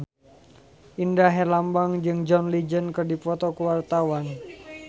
Indra Herlambang jeung John Legend keur dipoto ku wartawan